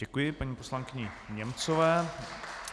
Děkuji paní poslankyni Němcové.